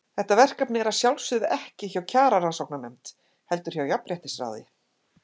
Þetta verkefni er að sjálfsögðu ekki hjá Kjararannsóknarnefnd, heldur hjá Jafnréttisráði.